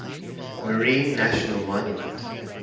marine national monument